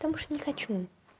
потому что не хочу